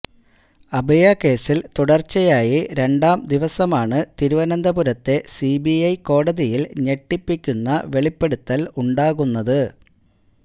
അഭയാകേസില് തുടര്ച്ചയായി രണ്ടാം ദിവസമാണ് തിരുവനന്തപുരത്തെ സിബിഐ കോടതിയില് ഞെട്ടിപ്പിക്കുന്ന വെളിപ്പെടുത്തൽ ഉണ്ടാകുന്നത്